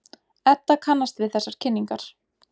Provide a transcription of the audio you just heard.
Edda kannast við þessar kynningar.